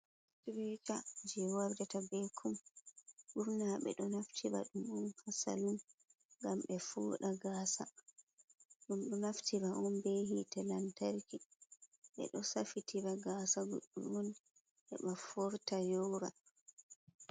Sitireeca jey wardata bee kum, ɓurna ɓe ɗo naftira ɗum on haa salun ngam ɓe fooɗa gaasa, ɗum ɗo naftira on bee hiite lantarki, ɓe ɗo safitira gaasa on bee ɓe foorta yoora.